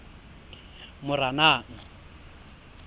moranang